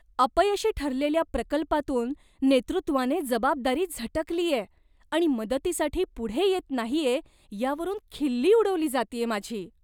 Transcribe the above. अपयशी ठरलेल्या प्रकल्पातून नेतृत्वाने जबाबदारी झटकलीये आणि मदतीसाठी पुढे येत नाहीये यावरून खिल्ली उडवली जातेय माझी.